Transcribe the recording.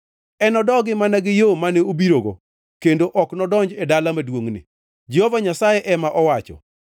Enodogi mana gi yo mane obirogo; kendo ok enodonj e dala maduongʼni,” Jehova Nyasaye ema owacho.